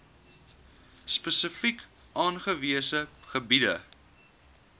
spesifiek aangewese gebiede